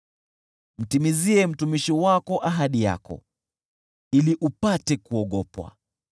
Mtimizie mtumishi wako ahadi yako, ili upate kuogopwa.